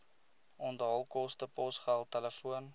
onthaalkoste posgeld telefoon